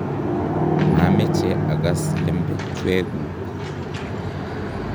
mameche ags lembechweguk